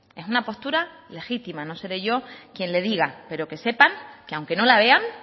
es una postura legítima no seré yo quien le diga pero que sepan que aunque no la vean